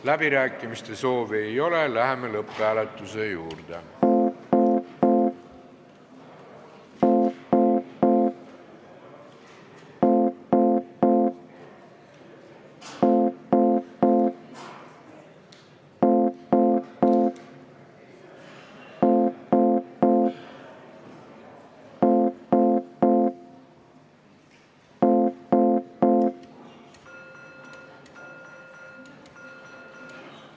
Läbirääkimiste soovi ei ole, läheme lõpphääletuse juurde.